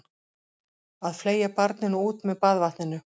Að fleygja barninu út með baðvatninu